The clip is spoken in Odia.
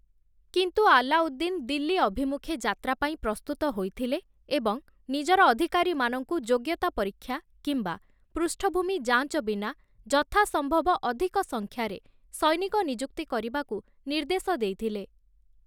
କିନ୍ତୁ ଆଲ୍ଲାଉଦ୍ଦିନ୍ ଦିଲ୍ଲୀ ଅଭିମୁଖେ ଯାତ୍ରା ପାଇଁ ପ୍ରସ୍ତୁତ ହୋଇଥିଲେ ଏବଂ ନିଜର ଅଧିକାରୀମାନଙ୍କୁ ଯୋଗ୍ୟତା ପରୀକ୍ଷା କିମ୍ବା ପୃଷ୍ଠଭୂମି ଯାଞ୍ଚ ବିନା ଯଥାସମ୍ଭବ ଅଧିକ ସଂଖ୍ୟାରେ ସୈନିକ ନିଯୁକ୍ତି କରିବାକୁ ନିର୍ଦ୍ଦେଶ ଦେଇଥିଲେ ।